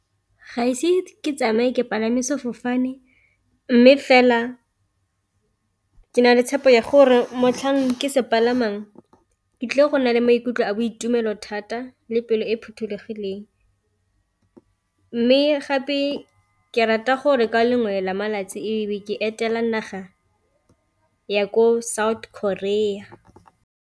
Ga ise ke tsamaye ke palame sefofane, mme fela ke na le tshepo ya gore motlhang ke se palamang ke tlile go na le maikutlo a boitumelo thata le pelo e phothulogileng. Mme gape ke rata gore ka lengwe la malatsi ebe ke etela naga ya ko South Korea.